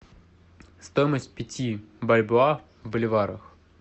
стоимость пяти бальбоа в боливарах